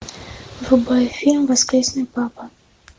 врубай фильм воскресный папа